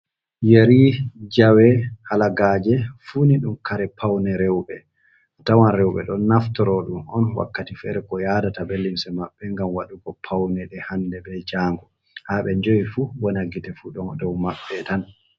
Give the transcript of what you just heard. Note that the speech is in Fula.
Yere, jawe, kalagaaje, fuu ni ɗum kare pawne rewɓe. A tawan rewɓe ɗon naftoro ɗum on wakkati feere ko yaadata bee limse maɓɓe, ngam waɗugo pawne ɗe hannde bee janngo. Haa ɓe njahi fuu wona gite fuu ɗo dow maɓɓe tan.